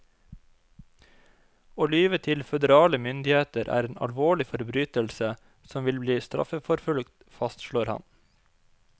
Å lyve til føderale myndigheter er en alvorlig forbrytelse som vil bli straffeforfulgt, fastslår han.